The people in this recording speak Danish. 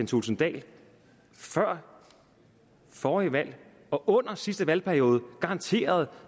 thulesen dahl før forrige valg og under sidste valgperiode garanterede